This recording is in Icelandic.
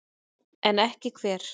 En ekki hver?